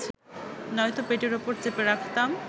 নয়তো পেটের ওপর চেপে রাখতাম